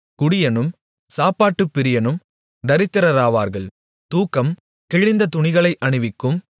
குடியனும் சாப்பாட்டுப்பிரியனும் தரித்திரராவார்கள் தூக்கம் கிழிந்த துணிகளை அணிவிக்கும்